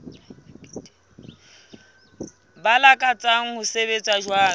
ba lakatsang ho sebetsa jwalo